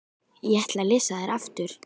Ég ætla að lesa þær aftur.